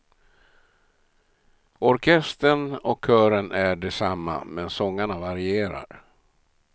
Orkestern och kören är de samma, men sångarna varierar.